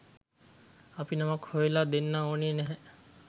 අපි නමක් හොයලා දෙන්න ඕනේ නැහැ